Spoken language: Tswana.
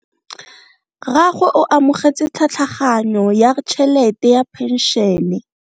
Rragwe o amogetse tlhatlhaganyo ya tšhelete ya phenšene.